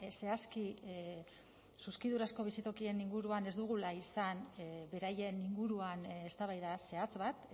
zehazki zuzkidurazko bizitokien inguruan ez dugula izan beraien inguruan eztabaida zehatz bat